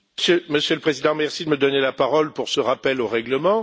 Monsieur le Président, merci de me donner la parole pour ce rappel au règlement.